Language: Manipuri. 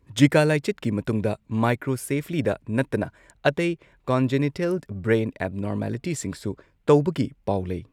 ꯓꯤꯀꯥ ꯂꯥꯏꯆꯠꯀꯤ ꯃꯇꯨꯡꯗ ꯃꯥꯏꯀ꯭ꯔꯣꯁꯦꯐꯂꯤꯗ ꯅꯠꯇꯅ ꯑꯇꯩ ꯀꯣꯟꯖꯤꯅꯤꯇꯦꯜ ꯕ꯭ꯔꯦꯟ ꯑꯦꯕꯅꯣꯔꯃꯦꯂꯤꯇꯤꯁꯤꯡꯁꯨ ꯇꯧꯕꯒꯤ ꯄꯥꯎ ꯂꯩ꯫